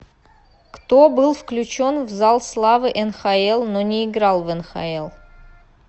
кто был включен в зал славы нхл но не играл в нхл